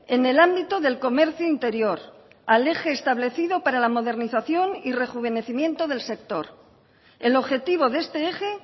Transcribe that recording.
en el ámbito del comercio interior al eje establecido para la modernización y rejuvenecimiento del sector el objetivo de este eje